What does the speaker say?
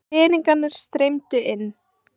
Peningarnir streymdu inn.